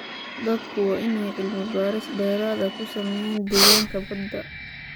Dadku waa in ay cilmi baaris dheeraad ah ku sameeyaan deegaanka badda.